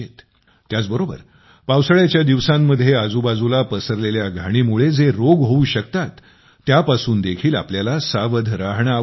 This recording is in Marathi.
त्याचबरोबर पावसाळ्याच्या दिवसांमध्ये आजूबाजूला पसरलेल्या घाणीमुळे जे रोग होऊ शकतात त्यापासून देखील आपल्याला सावध राहणे आवश्यक आहे